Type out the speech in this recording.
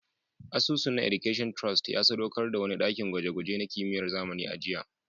Asusun na Education Trust ya sadaukar da wani dakin gwaje-gwaje na kimiyyar zamani a jiya